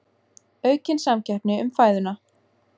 Aukin samkeppni um fæðuna